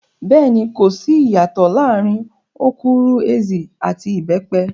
Bẹ́ẹ̀ni, kò sí ìyàtòọ̀ láàrin okwuru-ezi àti ìbẹ́pẹ.